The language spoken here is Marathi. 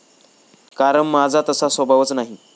कारण माझा तसा स्वभावच नाही.